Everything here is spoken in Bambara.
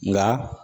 Nka